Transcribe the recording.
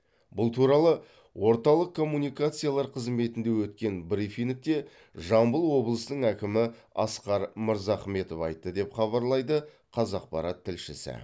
бұл туралы орталық коммуникациялар қызметінде өткен брифингте жамбыл облысының әкімі асқар мырзахметов айтты деп хабарлайды қазақпарат тілшісі